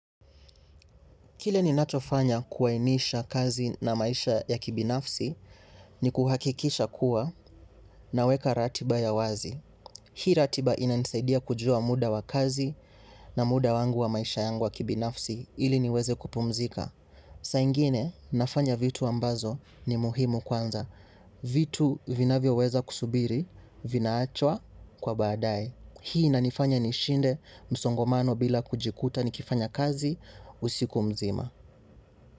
Kile ni nachofanya kuwainisha kazi na maisha ya kibinafsi ni kuhakikisha kuwa naweka ratiba ya wazi. Hii ratiba ina nisaidia kujua muda wa kazi na muda wangu wa maisha yangu wa kibinafsi ili niweze kupumzika. Saingine nafanya vitu ambazo ni muhimu kwanza. Vitu vinavyo weza kusubiri vinaachwa kwa badae. Hii ina nifanye nishinde msongomano bila kujikuta ni kifanya kazi usiku mzima.